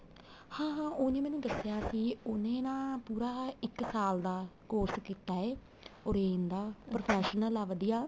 ਹਾਂ ਹਾਂ ਉਹਨੇ ਮੈਨੂੰ ਦੱਸਿਆ ਸੀ ਉਹਨੇ ਨਾ ਪੂਰਾ ਇੱਕ ਸਾਲ ਦਾ course ਕੀਤਾ ਏ orange ਦਾ professional ਆ ਵਧੀਆ